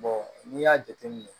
n'i y'a jateminɛ